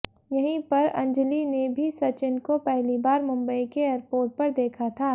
यही पर अंजलि ने भी सचिन को पहली बार मुंबई के एयरपोर्ट पर देखा था